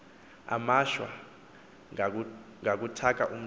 amashwa ngakuthaka umntu